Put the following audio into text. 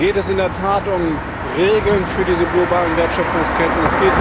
Da geht es in der Tat um Regeln für diese globalen Wertschöpfungsketten.